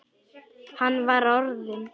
Hann var orðinn.